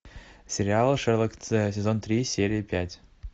сериал шерлок сезон три серия пять